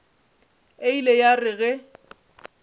e ile ya re ge